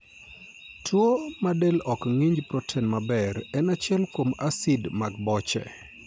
Tuwo ma del ok ng'inj proten maber en achiel kuom asid mag boche